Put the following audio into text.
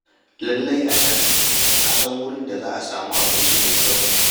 Lallai a can na san wurin da za a samu abinci mai kyau.